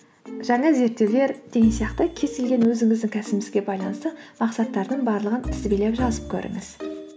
жаңа зерттеулер деген сияқты кез келген өзіңіздің кәсібіңізге байланысты мақсаттардың барлығын тізбелеп жазып көріңіз